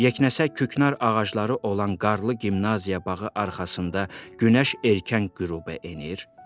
Yeknəsək küknar ağacları olan qarlı gimnaziya bağı arxasında günəş erkən qüruba enir.